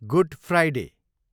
good Friday